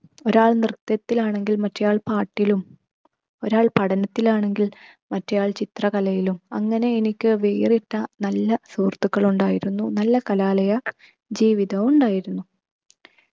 ഒരാൾ നൃത്തത്തിൽ ആണെങ്കിൽ മറ്റെയാൾ പാട്ടിലും ഒരാൾ പഠനത്തിൽ ആണെങ്കിൽ മറ്റെയാൾ ചിത്ര കലയിലും അങ്ങനെ എനിക്ക് വേറിട്ട നല്ല സുഹൃത്തുക്കൾ ഉണ്ടായിരുന്നു. നല്ല കലാലയ ജീവിതവും ഉണ്ടായിരുന്നു.